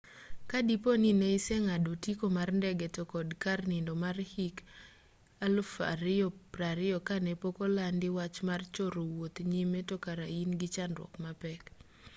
ka dipo ni ne iseng'ado otiko mar ndege to kod kar nindo mar hik 2020 kane pokolandi wach mar choro wuoth nyime to kare in gi chandruok mapek